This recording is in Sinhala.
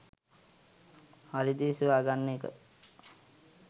හරි දේ සොයා ගන්න එක